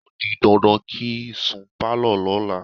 O di dandan kí n sun pálọ̀ lọ́la.